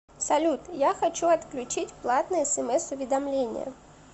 салют я хочу отключить платные смс уведомления